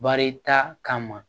Baarita kama